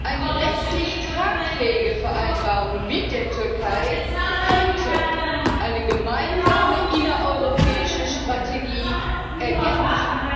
Eine rechtlich tragfähige Vereinbarung mit der Türkei könnte eine gemeinsame innereuropäische Strategie ergänzen.